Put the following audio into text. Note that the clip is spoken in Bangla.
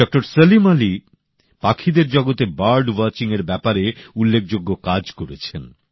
ডক্টর সালিম পাখিদের জগতে বার্ড ওয়াচিংয়ের ব্যাপারে উল্লেখযোগ্য কাজ করেছেন